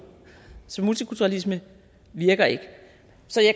så multikulturalisme virker ikke